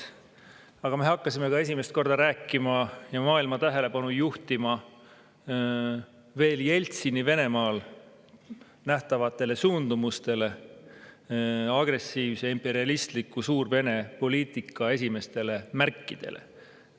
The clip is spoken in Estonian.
Aga me hakkasime ka esimest korda rääkima ja maailma tähelepanu juhtima veel Jeltsini Venemaal nähtavatele suundumustele, agressiivse imperialistliku Suur‑Vene poliitika esimestele märkidele.